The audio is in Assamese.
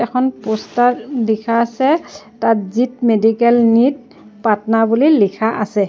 এখন প'ষ্টাৰ দেখাইছে তাত জীট মেডিকেল নিট পাটনা বুলি লিখা আছে।